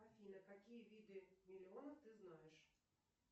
афина какие виды миллионов ты знаешь